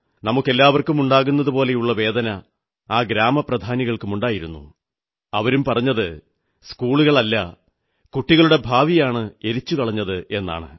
നമുക്കെല്ലാവർക്കുമുണ്ടാകുന്നതുപോലെയുള്ള വേദന ആ ഗ്രാമപ്രധാനികൾക്കുമുണ്ടായിരുന്നു അവരും പറഞ്ഞത് സ്കൂളല്ല കുട്ടികളുടെ ഭാവിയാണ് എരിച്ചുകളഞ്ഞതെന്നാണ്